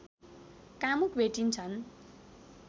कामुक भेटिन्छन्